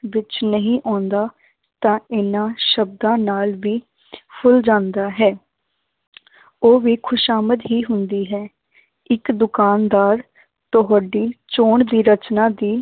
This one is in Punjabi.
ਵਿੱਚ ਨਹੀਂ ਆਉਂਦਾ ਤਾਂ ਇਹਨਾਂ ਸ਼ਬਦਾਂ ਨਾਲ ਵੀ ਫੁੱਲ ਜਾਂਦਾ ਹੈ ਉਹ ਵੀ ਖ਼ੁਸ਼ਾਮਦ ਹੀ ਹੁੰਦੀ ਹੈ ਇੱਕ ਦੁਕਾਨਦਾਰ ਤੁਹਾਡੀ ਚੋਣ ਦੀ ਰਚਨਾ ਦੀ